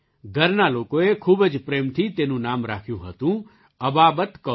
ઘરના લોકોએ ખૂબ જ પ્રેમથી તેનું નામ રાખ્યું હતું અબાબત કૌર